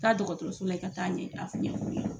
Taa dɔgɔtɔrɔso la i ka taa ɲɛ a ɲɛ f'u ye